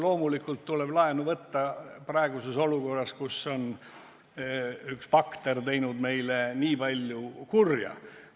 Loomulikult tuleb laenu võtta praeguses olukorras, kus üks bakter on teinud meile nii palju kurja.